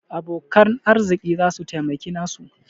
Abokan arziki za su taimaki nasu.